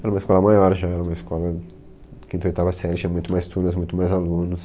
Era uma escola maior já, era uma escola quinta a oitava, tinha muito mais turmas, muito mais alunos.